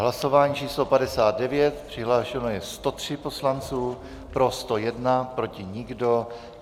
Hlasování číslo 59, přihlášeno je 103 poslanců, pro 101, proti nikdo.